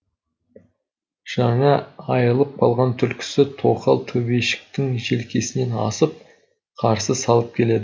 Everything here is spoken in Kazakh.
жаңа айырылып қалған түлкісі тоқал төбешіктің желкесінен асып қарсы салып келеді